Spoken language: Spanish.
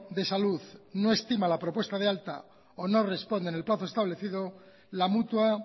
de salud no estima la propuesta de alta o no responde en el plazo establecido la mutua